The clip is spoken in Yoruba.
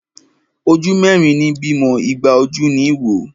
Ojú mẹ́rin ní bímọ, igba ojú ní wò.